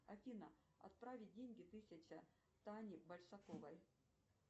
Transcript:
афина отправить деньги тысяча тане большаковой